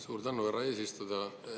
Suur tänu, härra eesistuja!